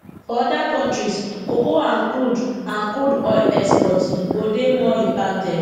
for oda kontris cocoa and crude and crude oil exports go dey more impacted